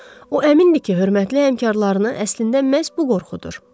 O əmindir ki, hörmətli həmkarlarını əslində məhz bu qorxudur.